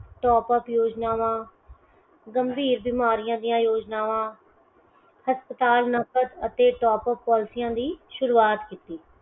Top up ਯੋਜਨਾਵਾਂ, ਗੰਭੀਰ ਬਿਮਾਰੀਆਂ ਦੀਆਂ ਯੋਜਨਾਵਾਂ ਹਸਪਤਾਲ number ਅਤੇ Top up policies ਦੀ ਸ਼ੁਰੁਆਤ।